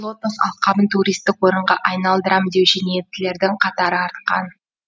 лотос алқабын туристік орынға айналдырам деуші ниеттілердің қатары артқан